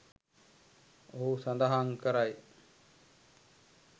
ඔහු සඳහන් කරයි